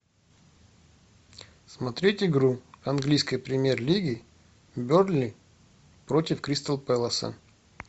смотреть игру английской премьер лиги бернли против кристал пэласа